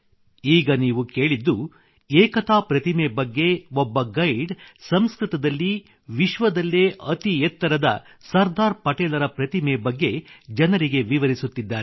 ಈಗ ನೀವು ಕೇಳಿದ್ದು ಏಕತಾ ಪ್ರತಿಮೆ ಬಗ್ಗೆ ಒಬ್ಬ ಗೈಡ್ ಸಂಸ್ಕೃತದಲ್ಲಿ ವಿಶ್ವದಲ್ಲೇ ಅತಿ ಎತ್ತರದ ಸರ್ದಾರ್ ಪಟೇಲರ ಪ್ರತಿಮೆ ಬಗ್ಗೆ ಜನರಿಗೆ ವಿವರಿಸುತ್ತಿದ್ದಾರೆ